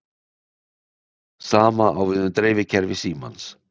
Sama á við um dreifikerfi símans.